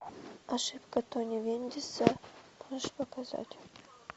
ошибка тони вендиса можешь показать